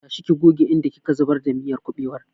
Tashi ki goge inda ki ka zubar da miyar kuɓewar!